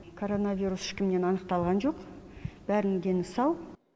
коронавирус ешкімнен анықталған жоқ бәрінің дені сау